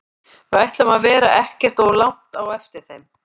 Við ætlum að vera ekkert of langt á eftir þeim.